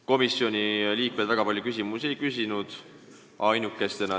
Komisjoni liikmed väga palju küsimusi ei küsinud.